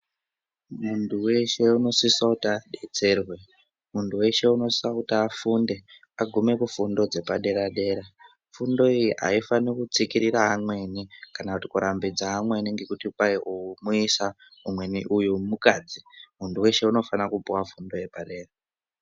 Muntu weshe unosisa kuti adetserwe, muntu weshe unosisa kuti afude agume kufundo dzepadera dera fundo iyi haifani kutsikirira amweni kana kuti kurambidza amweni nekuti kwai umwe muesa mumwe mukadzi mumtu weshe unofana kupuwa fundo yepadera.